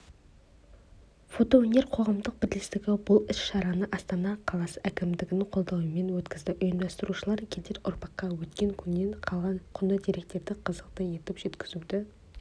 фотоөнер қоғамдық бірлестігі бұл іс-шараны астана қаласы әкімдігінің қолдауымен өткізді ұйымдастырушылар келер ұрпаққа өткен күннен қалған құнды деректерді қызықты етіп жеткізуді